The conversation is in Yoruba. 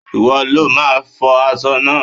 Ìwọ lo máa fọ aṣọ náà.!